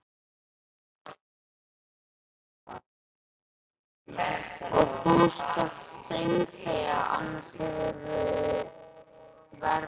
Og þú skalt steinþegja, annars hefurðu verra af.